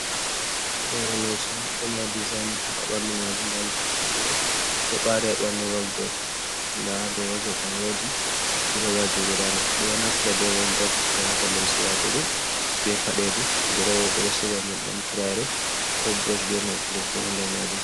Hoore leeso on ɗo mari design haa dow ɓanndu maajum. Ndaa luttuɗum ɓanndu man ɗo baari haa ɓanndu woodrob. Ndaa haa dow woodrob man woodi duroowaaji guda nayi. Ɓe ɗo naftira bee woodrob ɓe waata limse watugo bee padeeji. Duroowa ɓe siga nyebbam, turaare koo burooshi bee maakilin fu haa nder maajum.